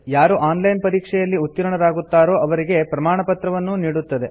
ಯಾರು online ಪರೀಕ್ಷೆಯಲ್ಲಿ ಉತ್ತೀರ್ಣರಾಗುತ್ತಾರೋ ಅವರಿಗೆ ಪ್ರಮಾಣಪತ್ರವನ್ನೂ ನೀಡುತ್ತದೆ